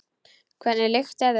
Hvernig lykt er þetta?